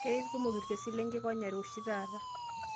Keikumok ilkesini lenkikonyare oshi taata